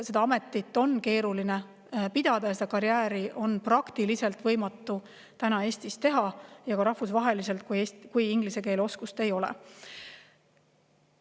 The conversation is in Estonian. Seda ametit on keeruline pidada ja seda karjääri on praktiliselt võimatu Eestis ja ka rahvusvaheliselt teha, kui inglise keele oskust ei ole.